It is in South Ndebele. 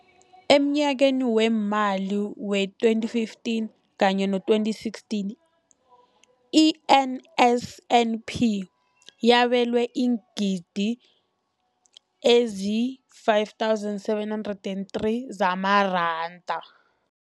Emnyakeni weemali we-2015 kanye no-2016, i-NSNP yabelwa iingidigidi ezi-5 703 zamaranda.